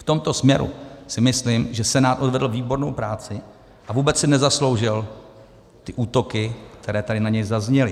V tomto směru si myslím, že Senát odvedl výbornou práci a vůbec si nezasloužil ty útoky, které tady na něj zazněly.